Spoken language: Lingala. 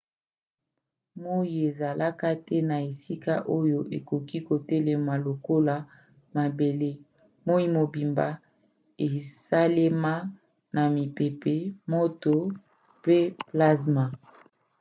moi ezalaka te na esika oyo okoki kotelema lokola mabele. moi mobimba esalema na mipepe moto pe plazma